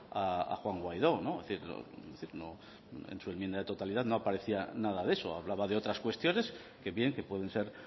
a juan guaidó es decir en su enmienda de totalidad no aparecía nada de eso hablaba de otras cuestiones que bien que pueden ser